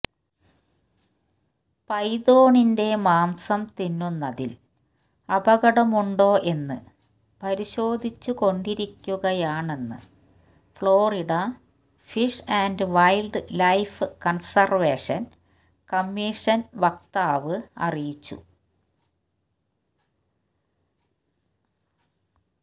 പൈതോണിന്റെ മാംസം തിന്നുന്നതിൽ അപകടമുണ്ടോ എന്ന് പരിശോധിച്ചുകൊണ്ടിരിക്കയാണെന്ന് Florida fish and wildlife conservation commission വക്താവ് അറിയിച്ചു